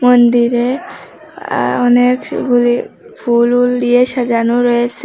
মন্দিরে আ ওনেক সুপুরি ফুল বুল দিয়ে সাজানো রয়েসে।